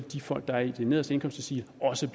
de folk der er i de nederste indkomstdeciler også